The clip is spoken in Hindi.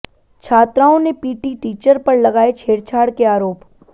छात्राओं ने पीटी टीचर पर लगाये छेड़छाड़ के आरोप